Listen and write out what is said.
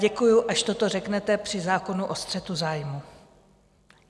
Děkuji, až toto řeknete při zákonu o střetu zájmů.